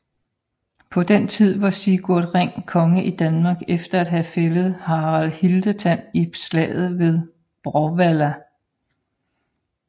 På den tid var Sigurd Ring konge i Danmark efter at have fældet Harald Hildetand i slaget ved Bråvalla